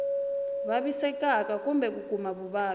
vavisekaka kumbe ku kuma vuvabyi